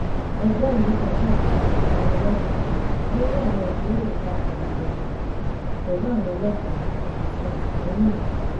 ẹgbẹ́ ìlú kan ṣàgbékalẹ̀ ìdánilẹ́kọ̀ọ́ lórí àwọn ìjíròrò papọ̀ ìrẹ̀lẹ̀ pẹ̀lú àwọn ọlọ́pàá àti àtìlẹ́yìn ìlú